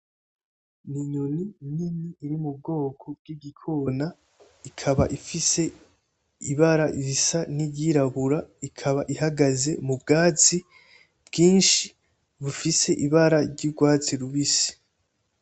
N'inyoni nini iri m’ubwoko bw'igikona ikaba ifise ibara risa ni ryirabura ikaba ihagaze mu bwatsi bwinshi bufise ibara ry'urwatsi rubisi.